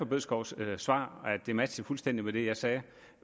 bødskovs svar det matchede fuldstændig med det jeg sagde